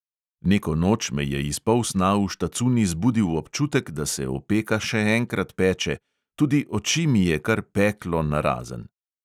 Neko noč me je iz polsna v štacuni zbudil občutek, da se opeka še enkrat peče, tudi oči mi je kar peklo narazen.